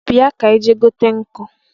Bia ka anyị gaa bute nkụ